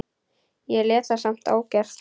Ég lét það samt ógert.